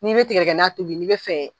N'i bɛ tidɛgɛna tobi n'i bɛ fɛ.